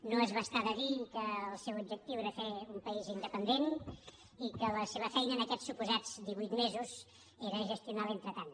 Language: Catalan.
no es va estar de dir que el seu objectiu era fer un país independent i que la seva feina en aquests suposats divuit mesos era gestionar l’entretant